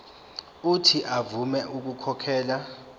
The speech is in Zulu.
uuthi avume ukukhokhela